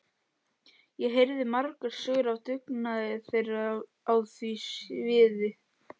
Ég heyrði margar sögur af dugnaði þeirra á því sviði.